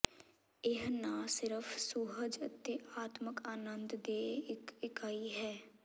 ਇਹ ਨਾ ਸਿਰਫ ਸੁਹਜ ਅਤੇ ਆਤਮਕ ਅਨੰਦ ਦੇ ਇੱਕ ਇਕਾਈ ਹੈ